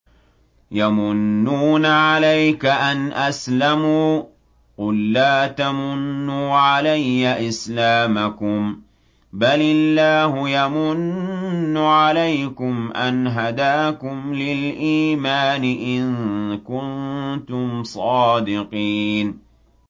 يَمُنُّونَ عَلَيْكَ أَنْ أَسْلَمُوا ۖ قُل لَّا تَمُنُّوا عَلَيَّ إِسْلَامَكُم ۖ بَلِ اللَّهُ يَمُنُّ عَلَيْكُمْ أَنْ هَدَاكُمْ لِلْإِيمَانِ إِن كُنتُمْ صَادِقِينَ